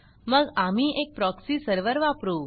मग आम्ही एक प्रॉक्सी सर्व्हर वापरू